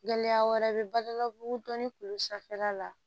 Gɛlɛya wɛrɛ bɛ balawu dɔnni bolo sanfɛla la